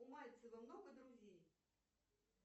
у мальцева много друзей